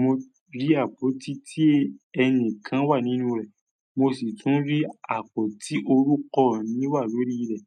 mo rí àpótí tí ẹni kan wà nínú rẹ̀, mo sì tún rí àpótí orúkọ mi wà lórí rẹ̀".